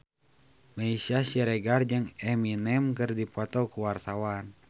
Meisya Siregar jeung Eminem keur dipoto ku wartawan